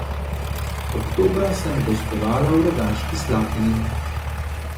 Oktobra sem gostovala v Rogaški Slatini.